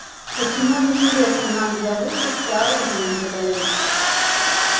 почему интересно нам для выставки оружие не выдают